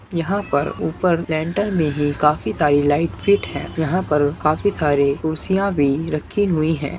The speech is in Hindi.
यहाँ पर ऊपर लेंटर में ही काफी सारी लाइट फिट हैं यहाँ पर काफी सारे कुर्सियां भी रखी हुई है।